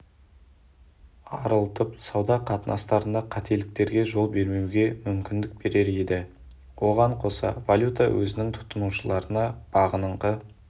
арылтып сауда қатынастарында қателіктерге жол бермеуге мүмкіндік берер еді оған қоса валюта өзінің тұтынушыларына бағыныңқы